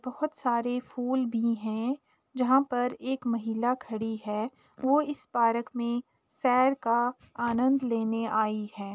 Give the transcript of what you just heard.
बहोत सारे फूल भी हैं जहाँ पर एक महिला खड़ी है वो इस पार्क में सैर का अनन्द लेने आई है।